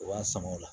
U b'a sɔngɔ la